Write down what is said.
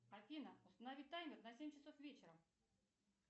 афина установи таймер на семь часов вечера